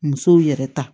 Musow yɛrɛ ta